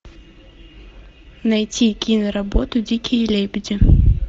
найти кино работу дикие лебеди